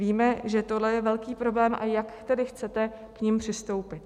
Víme, že tohle je velký problém, a jak tedy chcete k nim přistoupit?